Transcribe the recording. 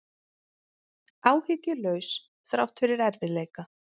Áhyggjulaus þrátt fyrir erfiðleika